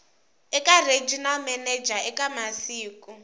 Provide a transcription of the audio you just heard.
eka regional manager eka masiku